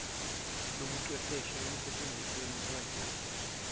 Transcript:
lobuchwepheshe ekusentshenzisweni kwalezi